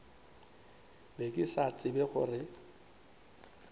be ke sa tsebe gore